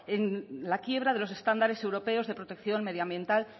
en la quiebra de los estándares europeos de protección medioambiental